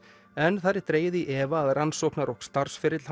en þar er dregið í efa að rannsóknar og starfsferill